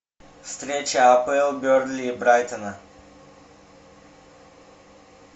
встреча апл бернли и брайтона